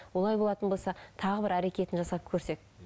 олай болатын болса тағы бір әрекетін жасап көрсек